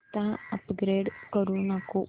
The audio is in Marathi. आता अपग्रेड करू नको